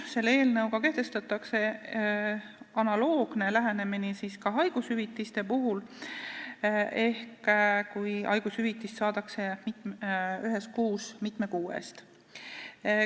Selle eelnõuga kehtestatakse analoogne lähenemine ka haigushüvitiste puhul ehk siis, kui haigushüvitist saadakse ühes kuus mitme kuu eest.